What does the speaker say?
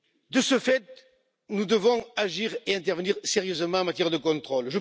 De ce fait, nous devons agir et intervenir sérieusement en matière de contrôle.